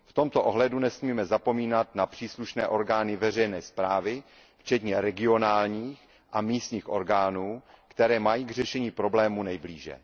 V tomto ohledu nesmíme zapomínat na příslušné orgány veřejné správy, včetně regionálních a místních orgánů, které mají k řešení problémů nejblíže.